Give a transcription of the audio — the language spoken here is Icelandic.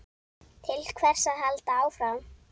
Til hvers að halda áfram?